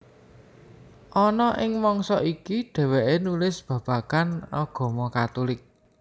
Ana ing mangsa iki dhèwèké nulis babagan agama Katulik